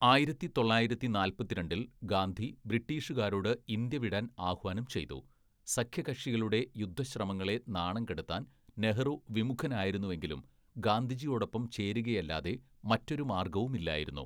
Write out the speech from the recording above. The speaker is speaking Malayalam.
ആയിരത്തി തൊള്ളായിരത്തി നാല്‍പത്തിരണ്ടില്‍ ഗാന്ധി ബ്രിട്ടീഷുകാരോട് ഇന്ത്യ വിടാൻ ആഹ്വാനം ചെയ്തു, സഖ്യകക്ഷികളുടെ യുദ്ധശ്രമങ്ങളെ നാണം കെടുത്താൻ നെഹ്‌റു വിമുഖനായിരുന്നെങ്കിലും ഗാന്ധിജിയോടൊപ്പം ചേരുകയല്ലാതെ മറ്റൊരു മാർഗവുമില്ലായിരുന്നു.